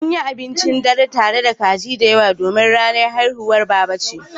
An yi abincin dare tare da kaji da yawa domin ranar haihuwar Baba ce.